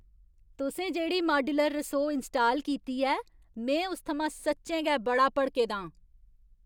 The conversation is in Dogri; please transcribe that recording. तुसें जेह्ड़ी माड्युलर रसोऽ इंस्टाल कीती ऐ, में उस थमां सच्चैं गै बड़ा भड़के दा आं।